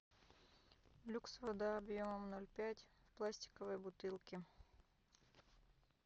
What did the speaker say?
люкс вода объемом ноль пять в пластиковой бутылке